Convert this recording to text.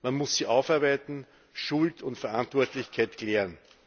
Man muss sie aufarbeiten, Schuld und Verantwortlichkeit klären.